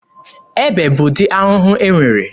Ebe bụ ụdị ahụhụ e nwere.